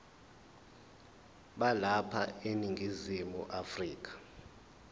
balapha eningizimu afrika